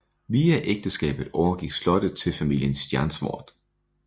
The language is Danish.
Via ægteskabet overgik slottet til familien Stjernswärd